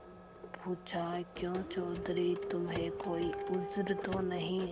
पूछाक्यों चौधरी तुम्हें कोई उज्र तो नहीं